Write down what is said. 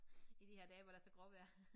I de her dage hvor der er så gråvejr